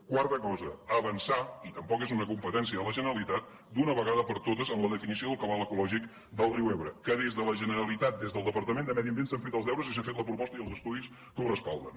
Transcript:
quarta cosa avançar i tampoc és una competència de la generalitat d’una vegada per totes en la definició del cabal ecològic del riu ebre que des de la generalitat des del departament de medi ambient s’han fet els deures i s’ha fet la proposta i els estudis que ho recolzen